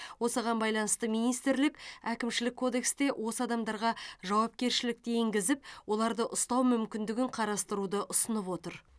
осыған байланысты министрлік әкімшілік кодексте осы адамдарға жауапкершілікті енгізіп оларды ұстау мүмкіндігін қарастыруды ұсынып отыр